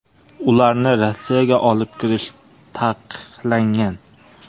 Ularni Rossiyaga olib kirish taqiqlangan.